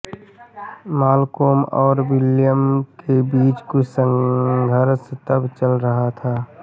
Malcolm और William के बीच कुछ संघर्ष तब चल रहा था